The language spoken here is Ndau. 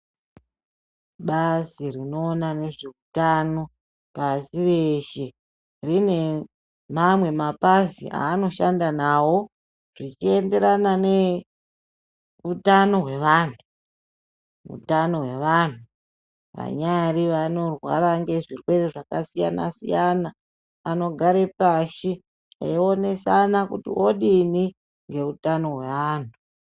Bazi rinoona nezveutano pasi reshe rine mamwe mapazi aanoshanda nawo zvichienderana neutano hwevantu utano hwevantu vanyari vanorwara ngezvirwerenda zvakasiyana siyana anogare pashi eionsana kuti odini neutano hwaeantu.